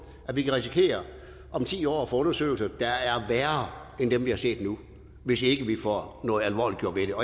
at vi kan risikere om ti år at få undersøgelser der er værre end dem vi har set nu hvis ikke vi får noget alvorligt gjort ved det